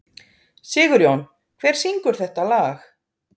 Sigurjón, hver syngur þetta lag?